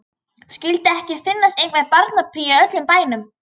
Skyldi ekki finnast einhver barnapía í öllum bænum.